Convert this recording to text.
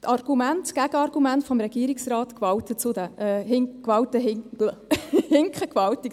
Die Gegenargumente des Regierungsrates hinken zudem gewaltig.